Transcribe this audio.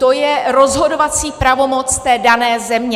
To je rozhodovací pravomoc té dané země.